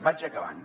vaig acabant